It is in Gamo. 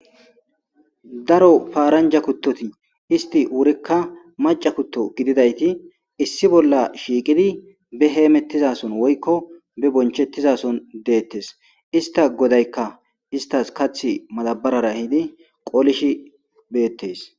daro paaranja kuttoti isti wurikka maca kutto gididayti issi bolla shiiqidi be heemettizason woykko be bonchettizason deettes ista godaykka istas kath madabarara hidi qolishi beettes